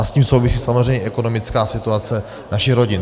A s tím souvisí samozřejmě ekonomická situace našich rodin.